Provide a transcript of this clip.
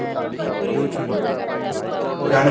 ତୁ ଜାଣି